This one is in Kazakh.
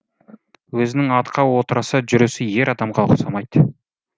өзінің атқа отырысы жүрісі ер адамға ұқсамайды